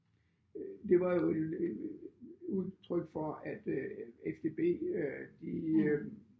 Øh det var jo et udtryk for at øh FDB øh de øh